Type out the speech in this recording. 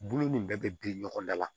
Bulu nin bɛɛ bɛ biri ɲɔgɔn da la